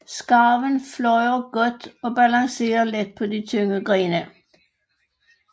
Skarven flyver godt og balancerer let på de tynde grene